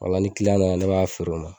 ola ni kiliyan nana ne b'a feere o ma